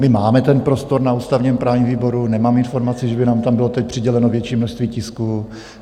My máme ten prostor na ústavně-právním výboru, nemám informaci, že by nám tam bylo teď přiděleno větší množství tisků.